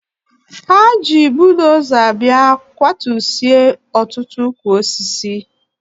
Ha ji budoza bịa gbutusịa ọtụtụ ukwu osisi.